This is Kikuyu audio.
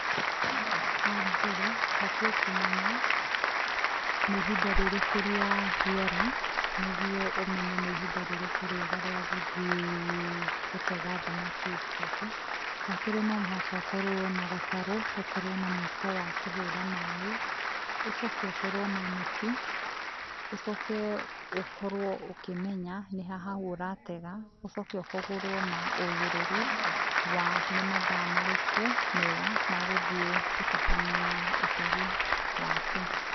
Wa mbere ũbatiĩ kũmenya nĩ ihinda rĩrĩkũ rĩa rĩera, nĩguo ũmenye nĩ ihinda rĩrĩkũ rĩega rĩa gũthiĩ gũtega thamaki ciaku wa kerĩ no mũhaka ũkorwo na gatarũ, ũkorwo na mũiko wa kũhũra maĩ ũcoke ũkorwo na neti, ũcoke ũkorwo ũkĩmenya nĩha haũ ũratega, ũcoke ũkorwo na ũgĩrĩru wa nĩ mathaa marĩkũ mega ma gũtabania ũtegi waku.